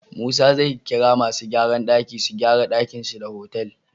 Musa zai kira masu gyran daki su gyara dakin shi da otal